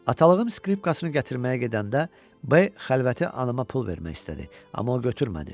Atalığım skripkasını gətirməyə gedəndə B xəlvəti anama pul vermək istədi, amma o götürmədi.